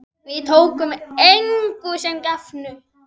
Við tókum engu sem gefnu.